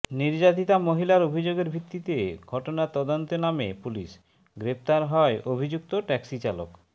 নির্যাতিতা মহিলার অভিযোগের ভিত্তিতে ঘটনার তদন্তে নামে পুলিশ গ্রেফতার হয় অভিযুক্ত ট্যাক্সি চালক